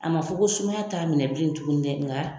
A ma fɔ ko sumaya t'a minɛ bilen tuguni dɛ nga.